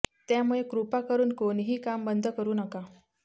त्यामुळे कृपा करून कोणीही काम बंद करू नका